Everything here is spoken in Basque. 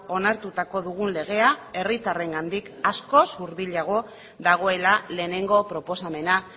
onartutako dugun legea herritarrengandik askoz hurbilago dagoela lehenengo proposamena